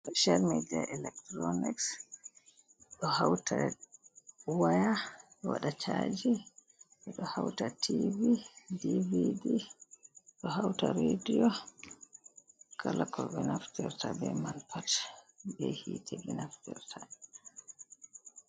Feshiyal midia electuronics ɗo hauta waya waɗa chaaji ɗo hauta tv, dvd, ɗo hauta radiyo kala ko be naftirta ɓe man pat be hiite ɓe naftirta.